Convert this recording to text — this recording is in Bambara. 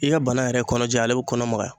I ka bana yɛrɛ kɔnɔ ja ale be kɔnɔ magaya.